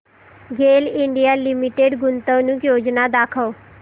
गेल India limited गुंतवणूक योजना दाखव